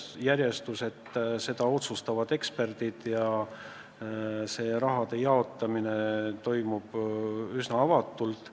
Selle järjestuse otsustavad eksperdid ja selle raha jaotamine toimub üsna avatult.